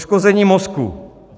Poškození mozku.